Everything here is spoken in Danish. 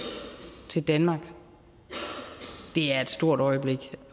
til danmark er et stort øjeblik